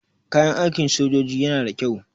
Kayan aikin sojoji yana da kyau.